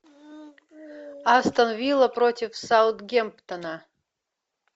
астон вилла против саутгемптона